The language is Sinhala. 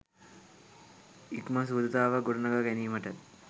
ඉක්මන් සුහදතාවක් ගොඩනගා ගැනීමට